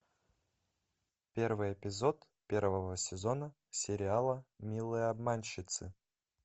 первый эпизод первого сезона сериала милые обманщицы